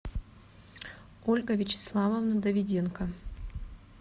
ольга вячеславовна давиденко